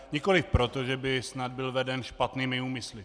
Nikoliv proto, že by snad byl veden špatnými úmysly.